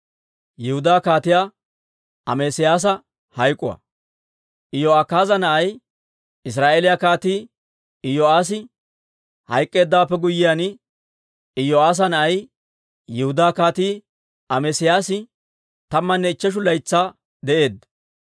Iyo'akaaza na'ay, Israa'eeliyaa Kaatii Iyo'aassi hayk'k'eeddawaappe guyyiyaan, Iyo'aassa na'ay, Yihudaa Kaatii Amesiyaasi tammanne ichcheshu laytsaa de'eedda.